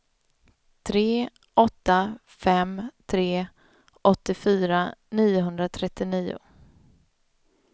tre åtta fem tre åttiofyra niohundratrettionio